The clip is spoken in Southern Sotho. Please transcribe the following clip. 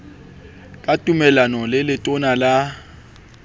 ka tumellano le letona la